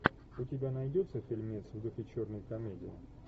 у тебя найдется фильмец в духе черной комедии